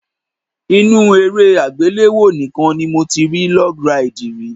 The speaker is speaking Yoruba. Inú eré àgbéléwò nìkan ni mo ti rí log ride rí.